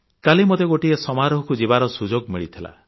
କାଲି ମୋତେ ଗୋଟିଏ ସମାରୋହକୁ ଯିବାର ସୁଯୋଗ ମିଳିଥିଲା